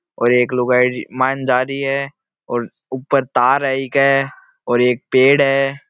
और एक लुगाई मान जा रही है और ऊपर तार है ईके और एक पेड़ है।